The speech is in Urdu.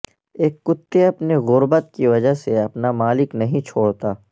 ایک کتے اپنے غربت کی وجہ سے اپنا مالک نہیں چھوڑتا